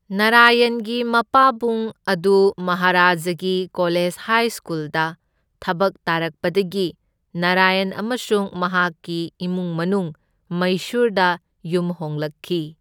ꯅꯥꯔꯥꯌꯟꯒꯤ ꯃꯄꯥꯕꯨꯡ ꯑꯗꯨ ꯃꯍꯥꯔꯥꯖꯥꯒꯤ ꯀꯣꯂꯦꯖ ꯍꯥꯏ ꯁ꯭ꯀꯨꯜꯗ ꯊꯕꯛ ꯇꯥꯔꯛꯄꯗꯒꯤ ꯅꯥꯔꯥꯌꯟ ꯑꯃꯁꯨꯡ ꯃꯍꯥꯛꯀꯤ ꯏꯃꯨꯡ ꯃꯅꯨꯡ ꯃꯥꯩꯁꯨꯔꯗ ꯌꯨꯝ ꯍꯣꯡꯂꯛꯈꯤ꯫